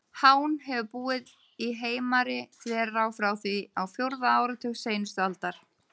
Hán hefur búið í Heimari-þverá frá því á fjórða áratug seinustu aldar.